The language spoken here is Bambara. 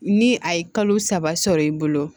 Ni a ye kalo saba sɔrɔ i bolo